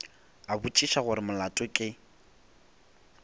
a botšiša gore molato ke